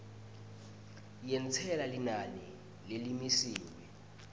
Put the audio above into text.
yentsela linani lelimisiwe